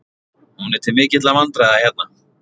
Hún er til mikilla vandræða hérna.